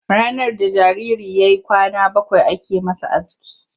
Ranar da jariri ya yi kwana bakwai ake masa aski.